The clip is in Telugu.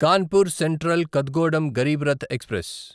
Kanpur central Kathgodam Garib Rath express